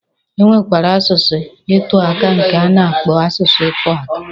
E nwekwara asụsụ ị tụaka nke a na-akpọ asụsụ ịtụaka.